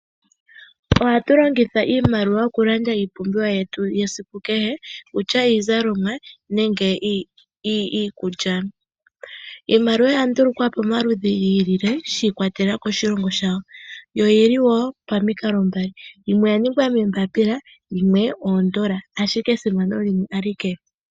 Ohatu longitha iimaliwa oku landa iipumbiwa yetu yesiku kehe okutya iizalomwa nenge iikulya. Iimaliwa oya ndulukwa po momaludhi gi ili le shi ikwatelela koshilongo shawo yo oyili wo pamikalo dhili mbali, yimwe oya ningwa moombaapila/momafo yimwe oya ningwa moondola/iikukutu, ashike esimano limwe alike.